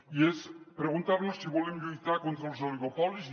i és preguntar·nos si volem lluitar contra els oligopolis